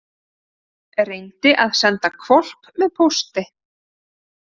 Reyndi að senda hvolp með pósti